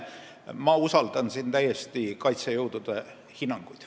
Ma usaldan siin täiesti kaitsejõudude hinnanguid.